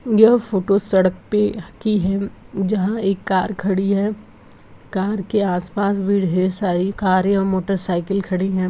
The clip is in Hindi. यह फोटो सड़क पे क्लिक की है जहां एक कार खड़ी है कार के आसपास भीड़ है सारी कार या मोटर साइकिल खड़ी है।